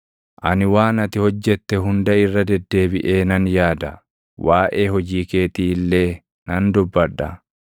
Ani waan ati hojjette hunda irra deddeebiʼee nan yaada; waaʼee hojii keetii illee nan dubbadha.